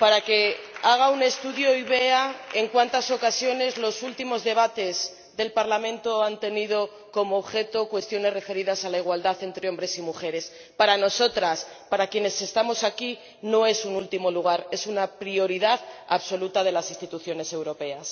para que haga un estudio y vea en cuántas ocasiones los últimos debates del Pleno han tenido como objeto cuestiones referidas a la igualdad entre hombres y mujeres. Para nosotras, para quienes estamos aquí, no es algo que ocupe un último lugar, es una prioridad absoluta de las instituciones europeas.